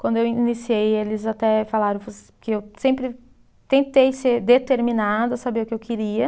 Quando eu iniciei, eles até falaram que eu sempre, tentei ser determinada, saber o que eu queria.